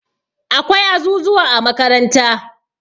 Akwai azuzuwa a makaranta